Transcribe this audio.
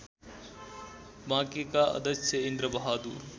बाँकेका अध्यक्ष इन्द्रबहादुर